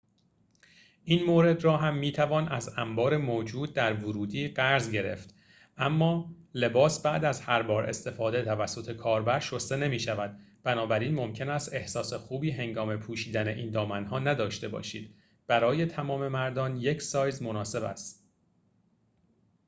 این مورد را هم می‌توان از انبار موجود در ورودی قرض گرفت اما لباس بعد از هر بار استفاده توسط کاربر شسته نمی‌شود بنابراین ممکن است احساس خوبی هنگام پوشیدن این دامن‌ها نداشته باشید برای تمام مردان یک سایز مناسب است